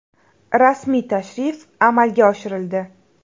Rasmiy tashrif amalga oshirildi.